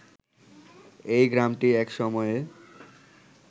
এই গ্রামটি এক সময়ে